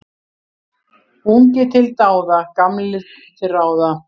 Ungir til dáða, gamlir til ráða.